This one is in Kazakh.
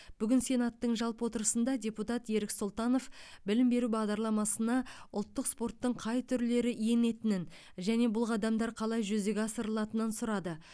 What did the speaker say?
бүгін сенаттың жалпы отырысында депутат ерік сұлтанов білім беру бағдарламасына ұлттық спорттың қай түрлері енетінін және бұл қадамдар қалай жүзеге асырылатынын сұрады